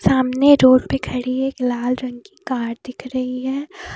सामने रोड पे खड़ी एक लाल रंग की कार दिख रही है।